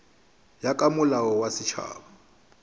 ya ka molao wa setšhaba